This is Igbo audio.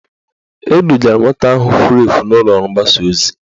Edugara nwata ahụ furu efu n'ụlọọrụ mgbasa ozi